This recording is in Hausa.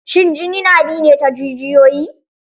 Shin jini na bi ne ta jijiyoyi?